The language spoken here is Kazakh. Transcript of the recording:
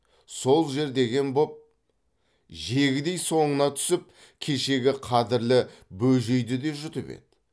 сол жер деген боп жегідей соңына түсіп кешегі қадірлі бөжейді де жұтып еді